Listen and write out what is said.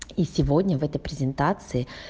и сегодня в этой презентации